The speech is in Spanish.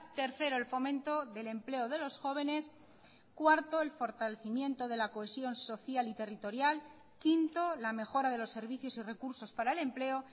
tercero el fomento del empleo de los jóvenes cuarto el fortalecimiento de la cohesión social y territorial quinto la mejora de los servicios y recursos para el empleo